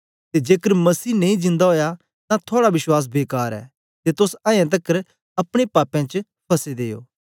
ते जेकर मसीह नेई जिंदा ओया तां थुआड़ा विश्वास बेकार ऐ ते तोस अयें तकर अपने पापें च फसे दे ओ